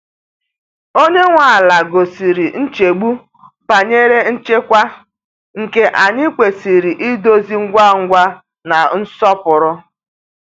Onye nwe ala gosiri nchegbu banyere nchekwa, nke anyị kwesịrị idozi ngwa ngwa na nsọpụrụ.